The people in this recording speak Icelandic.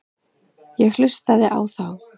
Ég hlustaði á þá.